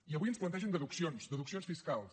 i avui ens plantegen deduccions deduccions fiscals